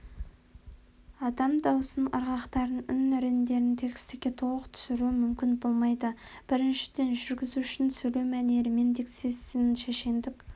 адам даусының ырғақтарын үн реңдерін текстіге толық түсіру мүмкін болмайды біріншіден жүргізушінің сөйлеу мәнерімен дикциясымен шешендік